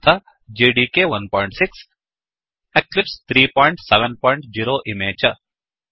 तथा जेडीके16 एक्लिप्स 370एक्लिप्स् ३७० इमे च